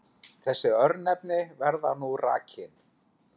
Þessi örnefni verða nú rakin